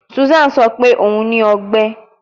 Susan sọ pe o ni ọgbẹ